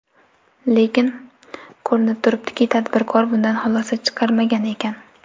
Lekin, ko‘rinib turibdiki, tadbirkor bundan xulosa chiqarmagan ekan.